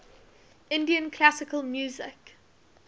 indian classical music